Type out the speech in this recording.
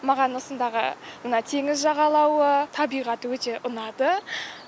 маған осындағы мына теңіз жағалауы табиғаты өте ұнады